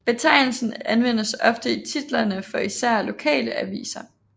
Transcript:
Betegnelsen anvendes ofte i titlerne for især lokale aviser